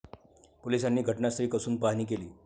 पोलिसांनी घटनास्थळी कसून पाहणी केली.